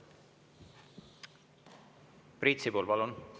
Priit Sibul, palun!